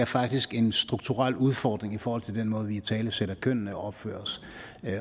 faktisk er en strukturel udfordring i forhold til den måde vi italesætter kønnene og opfører os